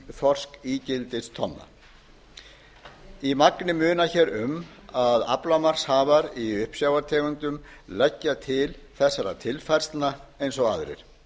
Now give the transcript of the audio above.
þorskígildistonna í magni munar um að aflamarkshafar í uppsjávartegundum leggja til þessara tilfærslna eins og aðrir